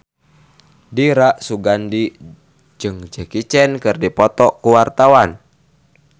Dira Sugandi jeung Jackie Chan keur dipoto ku wartawan